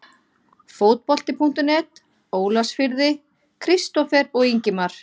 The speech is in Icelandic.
Fótbolti.net, Ólafsfirði- Kristófer og Ingimar.